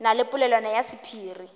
na le polelwana ya sephiri